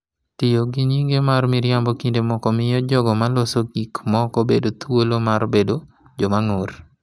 Tiyo gi nyinge ma miriambo kinde moko miyo jogo ma loso gik moko bedo thuolo mar bedo joma ng’ur